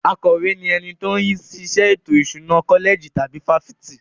Akọ̀we ni ẹni tó ń rí sí iṣẹ́ ètò ìṣúná kọ́lẹ̀jì tàbí fáfitì.